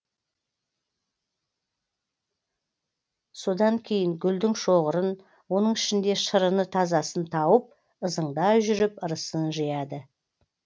содан кейін гүлдің шоғырын оның ішінде шырыны тазасын тауып ызыңдай жүріп ырысын жияды